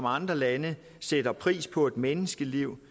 andre lande sætter pris på et menneskeliv